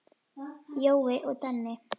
Jói og Denni.